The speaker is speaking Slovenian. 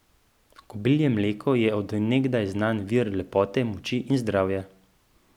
Kobilje mleko je od nekdaj znan vir lepote, moči in zdravja.